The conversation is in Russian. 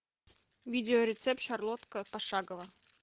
видео рецепт шарлотка пошагово